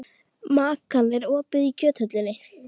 Makan, er opið í Kjöthöllinni?